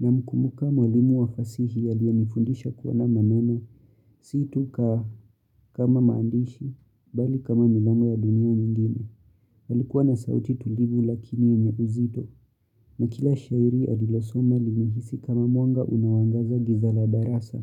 Namkumbuka mwalimu wa fasihi aliyenifundisha kuwa na maneno, si tu ka kama maandishi, bali kama milango ya dunia nyingine. Alikuwa na sauti tulivu lakini yenye uzito. Na kila shairi alilosoma lilihisi kama mwanga unaoangaza giza la darasa.